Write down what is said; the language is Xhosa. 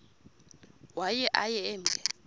waye aye emke